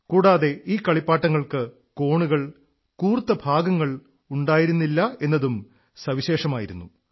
കൂടാതെ ഈ കളിപ്പാട്ടങ്ങൾക്ക് കോണുകൾ കൂർത്ത ഭാഗങ്ങൾ ഉണ്ടായിരുന്നില്ല എന്നതും വൈശിഷ്ട്യമായിരുന്നു